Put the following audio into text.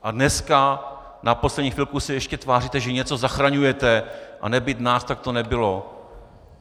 A dneska na poslední chvilku se ještě tváříte, že něco zachraňujete a nebýt nás, tak to nebylo.